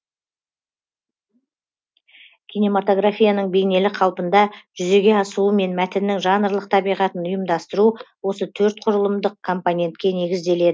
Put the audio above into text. кинематографияның бейнелі қалпында жүзеге асуы мен мәтіннің жанрлық табиғатын ұйымдастыру осы төрт құрылымдық компонентке негізделе